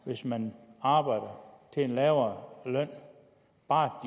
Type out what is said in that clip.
hvis man arbejder til en lavere løn bare